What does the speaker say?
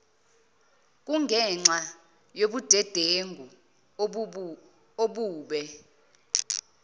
kungenxa yobudedengu obube